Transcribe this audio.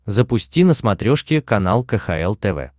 запусти на смотрешке канал кхл тв